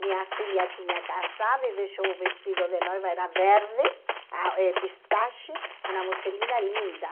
Minha filha tinha casado e deixou o vestido de noiva, era verde, ah eh pistache, uma musselina linda.